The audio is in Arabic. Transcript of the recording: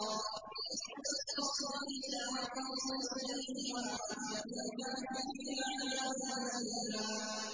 لِّيَسْأَلَ الصَّادِقِينَ عَن صِدْقِهِمْ ۚ وَأَعَدَّ لِلْكَافِرِينَ عَذَابًا أَلِيمًا